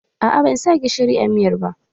Aa ban sa gishiri a miyar ba